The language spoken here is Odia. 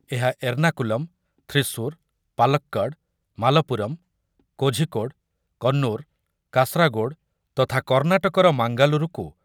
ଏହା ଏର୍ନାକୁଲମ, ଥ୍ରିସୁର, ପାଲକ୍କଡ, ମାଲପୁରମ, କାଜିକୋଡେ, କନ୍ନୁର, କାସାରାଗୋଡ୍ ତଥା କର୍ଣ୍ଣାଟକର ମାଙ୍ଗାଲୁରୁକୁ